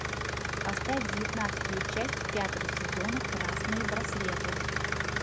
поставь девятнадцатую часть пятого сезона красные браслеты